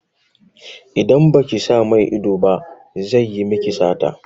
Idan baki sa mai ido ba zai yi miki sata.